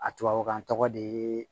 A tubabukan tɔgɔ de